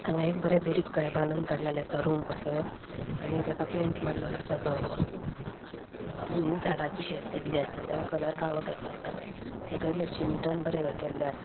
हांगायेक बरे दुरीक कहे बानून काढलेले आसा रूम कसो आणि तेका पेंट मारलेलो आसा धवो आणि झाडाची शेप दिल्ली आसा आणि तेका कलर काळो केल्लो आसा सकेलुय शिमिटान बरे हे केल्ले आस --